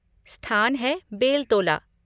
स्थान है बेलतोला।